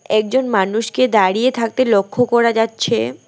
একজন মানুষকে দাঁড়িয়ে থাকতে লক্ষ করা যাচ্ছে।